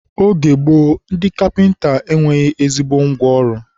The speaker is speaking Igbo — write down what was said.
oge gboo, ndị kapịnta e nweghị ezigbo ngwa ọrụ.